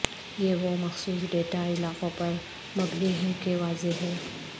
یہ وہ مخصوص ڈیٹا علاقوں پر مبنی ہیں کہ واضح ہے